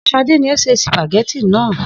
S̩ade ni ó se sìpàgé̩tì náà